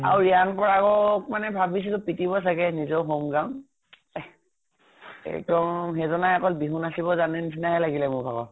আৰু ৰিয়ান পৰাগক মানে ভাবিছিলে পিতিব চাগে নিজৰ home ground এক্দম সেইজনা অকল বিহু নাচিব জানে নিছিনা হে লাগিল মোৰ ভাগৰ।